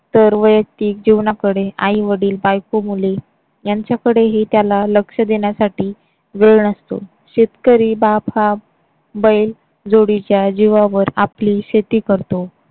तर वैयक्तिक जीवनाकडे आईवडील बायको मुली यांच्याकडेही त्याला लक्ष देण्यासाठी वेळ नसतो. शेतकरी बाप हा बैलजोडीच्या जीवावर आपली शेती करतो.